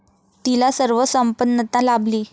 तिला सर्व संपन्नता लाभली.